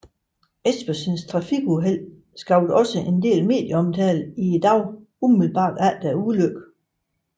Espersens trafikuheld skabte også en del medieomtale i dagene umiddelbart efter ulykken